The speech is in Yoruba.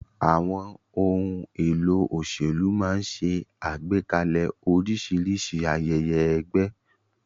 Àwọn ohun èlò òṣèlú máa ń ṣe àgbékalẹ̀ oríṣiríṣi ayẹyẹ ẹgbẹ́.